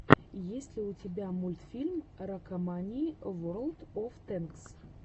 есть ли у тебя мультфильм ракомании ворлд оф тэнкс